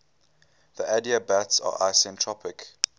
the adiabats are isentropic